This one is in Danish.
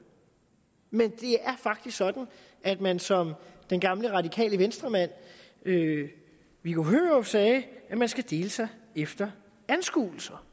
men det er faktisk sådan at man som den gamle radikale venstre mand viggo hørup sagde skal dele sig efter anskuelser